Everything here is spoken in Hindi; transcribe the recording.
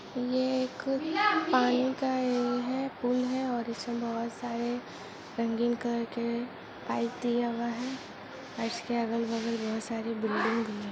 ये एक पानी का ऐ है पूल है और इसमें बहुत सारे रंगीन कलर के पाइप दिया हुआ है पाइप्स के अगल बगल बहुत सारी बिल्डिंग भी है।